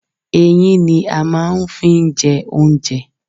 Eyín ni a máa n fi n je oúnjẹ